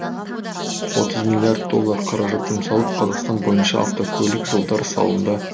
отыз миллиард доллар қаражат жұмсалып қазақстан бойынша автокөлік жолдары салынды